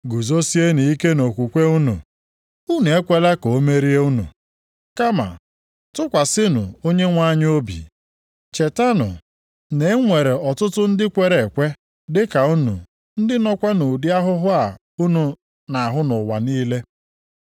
Guzosienụ ike nʼokwukwe unu. Unu ekwela ka o merie unu, kama tụkwasịnụ Onyenwe anyị obi. Chetanụ na e nwere ọtụtụ ndị kwere ekwe dị ka unu ndị nọkwa nʼụdị ahụhụ a unu na-ahụ nʼụwa niile.